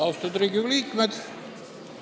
Austatud Riigikogu liikmed!